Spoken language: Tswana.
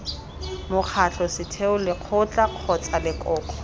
mokgatlho setheo lekgotla kgotsa lekoko